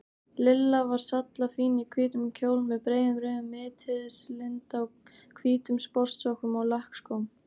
Lilla var sallafín í hvítum kjól með breiðum rauðum mittislinda, hvítum sportsokkum og lakkskóm.